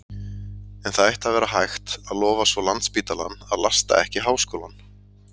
En það ætti að vera hægt, að lofa svo landsspítalann, að lasta ekki háskólann.